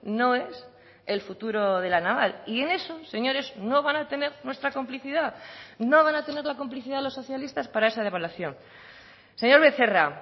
no es el futuro de la naval y en eso señores no van a tener nuestra complicidad no van a tener la complicidad de los socialistas para esa devaluación señor becerra